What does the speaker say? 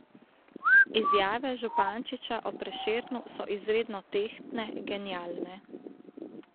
Izjave Župančiča o Prešernu so izredno tehtne, genialne.